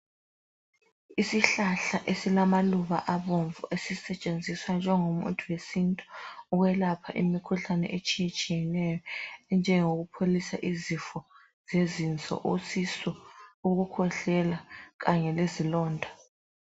Isihlahla esilamaluba abomvu, esisetshenziswa njengomuthi wesintu ukwelapha imikhuhlane etshiyetshiyeneyo. Enjengokupholisa izifo zezinso, isisu, ukukhwehlela, kanye lezilonda.